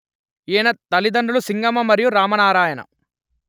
ఈయన తల్లితండ్రులు సింగమ మరియు రామనారాయణ